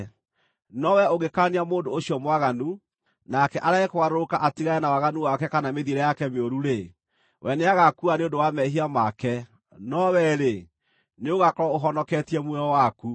No wee ũngĩkaania mũndũ ũcio mwaganu, nake arege kũgarũrũka atigane na waganu wake kana mĩthiĩre yake mĩũru-rĩ, we nĩagaakua nĩ ũndũ wa mehia make; no wee-rĩ, nĩũgaakorwo ũhonoketie muoyo waku.